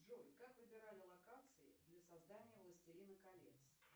джой как выбирали локации для создания властелина колец